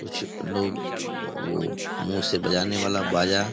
कुछ लोग वो मुंह से बजाने वाला बाजा --